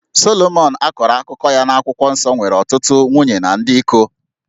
Solomọn a kọrọ akụkọ ya n'akwụkwọ nsọ nwere ọtụtụ nwunye na dị iko